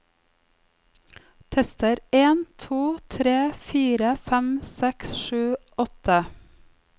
Tester en to tre fire fem seks sju åtte